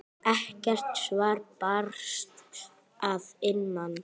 Ekkert svar barst að innan.